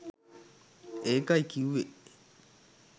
ඒකයි කිව්වේ